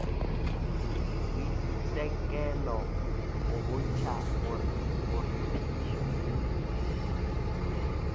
boitekelo go bontšha gore phišo